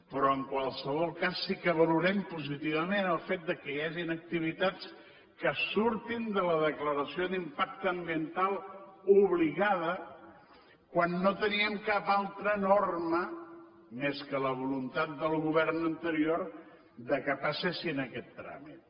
però en qualsevol cas sí que valorem positivament el fet que hi hagin activitats que surtin de la declaració d’impacte ambiental obligada quan no teníem cap altra norma més que la voluntat del govern anterior que passessin aquest tràmit